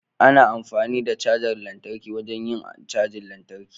Ana amfani da cajar lantarki wajen yin cajin lantarki.